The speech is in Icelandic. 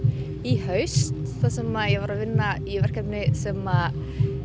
í haust þar sem ég var að vinna í verkefni sem